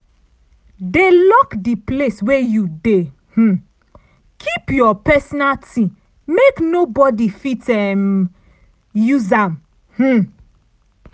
dey lock di place wey you dey um keep your personal ting make nobodi fit um use am um